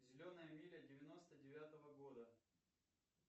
зеленая миля девяносто девятого года